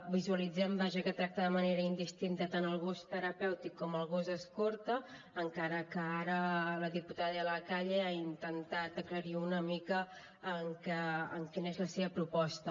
visualitzem vaja que tracta de manera indistinta tant el gos terapèutic com el gos escorta encara que ara la diputada de la calle ha intentat aclarir una mica quina és la seva proposta